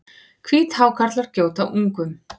Hvíthákarlar gjóta ungum.